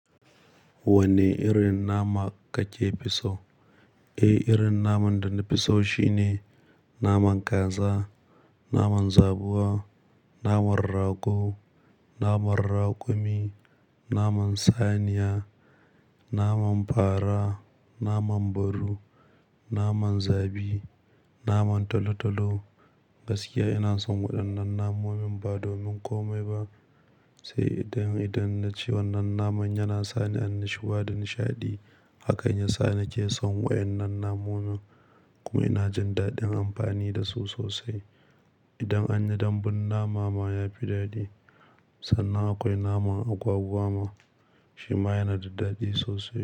Wanne irin nama ka ke fi so? Eh, irin naman da na fi so shine naman kaza, naman zabuwa, naman rago, naman raƙumi, naman saniya, naman fara, naman baru, naman zabi, naman tolo-tolo. Gaskiya ina son waɗannan namomin ba domin komai ba, sai idan, idan na ci wannan naman yana sani annashuwa da nishaɗi. Hakan ya sa na ke son waƴannan namomin. Ko ina jin daɗin amfani da su sosai. Idan anyi dambun nama ma ya fi daɗi. Sannan akwai naman agwagwa ma, shi ma yana da daɗi sosai.